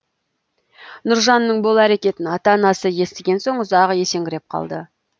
нұржанның бұл әрекетін ата анасы естіген соң ұзақ есеңгіреп қалды